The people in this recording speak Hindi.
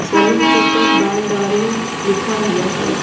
सैलून के ऊपर बाल दाढी लिखा हुआ है।